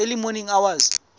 early morning hours